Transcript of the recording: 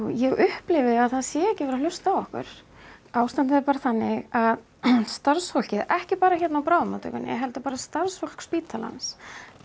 ég upplifi að það sé ekki verið að hlusta á okkur ástandið er bara þannig að starfsfólkið ekki bara hérna á bráðamótttökunni heldur bara starfsfólk spítalans